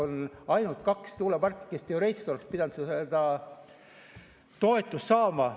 On ainult kaks tuuleparki, kes teoreetiliselt oleks pidanud seda toetust saama.